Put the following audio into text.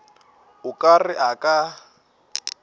o ka re a ka